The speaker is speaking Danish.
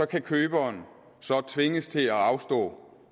kan køber så tvinges til at afstå